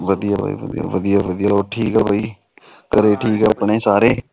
ਵਧੀਆਂ ਜੀ ਵਧੀਆ ਵਧੀਆਂ ਹੋਰ ਠੀਕ ਬਾਈ ਘਰੇ ਠੀਕ ਨੇ ਆਪਣੇ ਸਾਰੇ